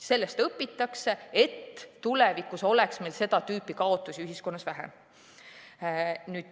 Sellest õpitakse, et tulevikus oleks meil seda tüüpi kaotusi ühiskonnas vähem.